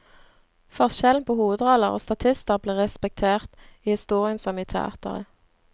Forskjellen på hovedroller og statister blir respektert, i historien som i teatret.